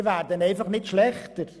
Wir werden einfach nicht schlechter.